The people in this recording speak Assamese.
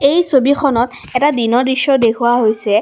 এই ছবিখনত এটা দিনৰ দৃশ্য দেখুওৱা হৈছে।